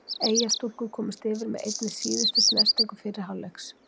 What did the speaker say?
Eyjastúlkur komust yfir með einni síðustu snertingu fyrri hálfleiks.